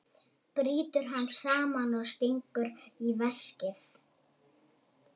Brýtur hann saman og stingur í veskið.